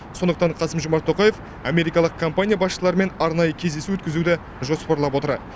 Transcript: сондықтан қасым жомарт тоқаев америкалық компания басшыларымен арнайы кездесу өткізуді жоспарлап отыр